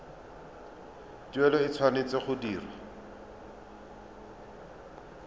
tuelo e tshwanetse go dirwa